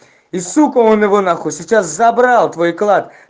и сука он его на хуй сейчас забрал твой клад